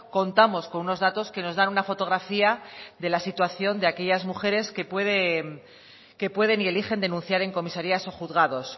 contamos con unos datos que nos da una fotografía de la situación de aquellas mujeres que pueden y eligen denunciar en comisarías o juzgados